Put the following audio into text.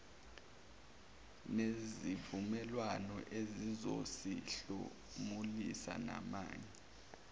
nezivumelwano ezizosihlomulisa namanye